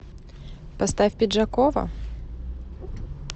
поставь пиджакова